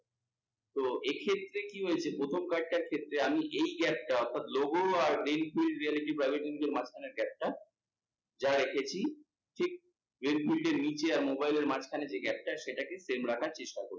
তো এক্ষেত্রে কি হয়েছে প্রথম কয়েকটার ক্ষেত্রে আমি এই gap টা অর্থাৎ logo আর মাঝখানের gap টা যা রেখেছি ঠিক এর নিচে আর mobile এর মাঝখানে যে gap টা সেটাকে same রাখার চেষ্টা করবে।